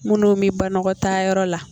Minnu bɛ banakɔtaayɔrɔ la